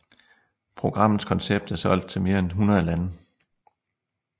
Programmets koncept er solgt til mere end 100 lande